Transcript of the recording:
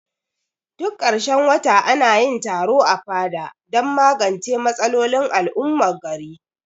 Duk karshen wata anayin taro a fada dan magance matsalolin al'ummar gari